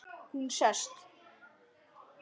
Hún sest.